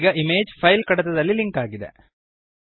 ಈಗ image file ಕಡತದಲ್ಲಿ link ಆಗಿದೆ